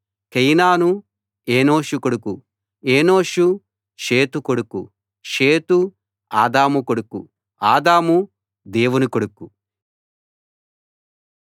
కేయినాను ఎనోషు కొడుకు ఎనోషు షేతు కొడుకు షేతు ఆదాము కొడుకు ఆదాము దేవుని కొడుకు